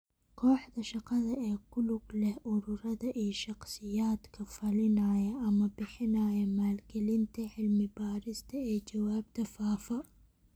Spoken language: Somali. Kooxda shaqada ee ku lug leh ururada iyo shakhsiyaadka fulinaya ama bixinaya maalgelinta cilmi-baarista ee jawaabta faafa.